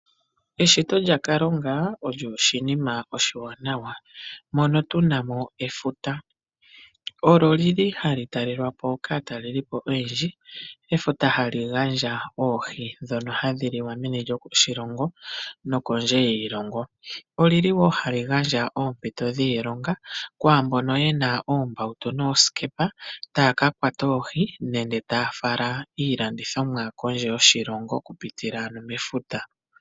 Eshito lya Kalunga olyo oshinima oshiwanawa, mono tunamo efuta. Olo li li hali talelwapo kaatalelipo oyendji. Efuta hali gandja oohi dhono hadhi liwa meni loshilongo no kondje yiilongo. Oli li wo hali gandja oompito dhiilonga kwaambono yena oombautu noosikepa taya ka kwata oohi nenge taya fala iilandithomwa kondje yoshilongo, okupitila ano mefuta.